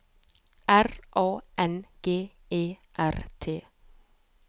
R A N G E R T